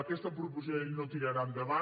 aquesta proposició de llei no tirarà endavant